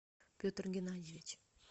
петр геннадьевич